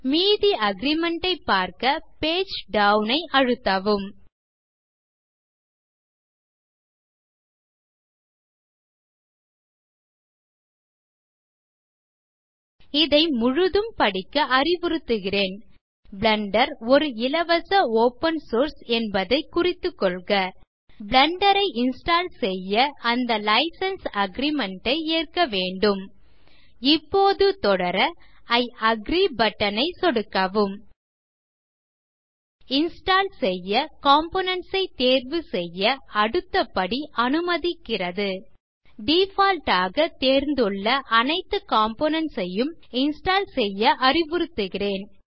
மீதி அக்ரீமெண்ட் ஐ பார்க்க பேஜ் டவுன் ஐ அழுத்தவும் இதை முழுதும் படிக்க அறிவுறுத்துகிறேன் பிளெண்டர் ஒரு இலவச ஒப்பன் சோர்ஸ் என்பதை குறித்துக்கொள்க பிளெண்டர் ஐ இன்ஸ்டால் செய்ய அந்த லைசென்ஸ் அக்ரீமெண்ட் ஐ ஏற்க வேண்டும் இப்போது தொடர இ அக்ரி பட்டன் ஐ சொடுக்கவும் இன்ஸ்டால் செய்ய காம்போனன்ட்ஸ் ஐ தேர்வுசெய்ய அடுத்த படி அனுமதிக்கிறது டிஃபால்ட் ஆக தேர்ந்துள்ள அனைத்து காம்போனன்ட்ஸ் ஐயும் இன்ஸ்டால் செய்ய அறிவுறுத்துகிறேன்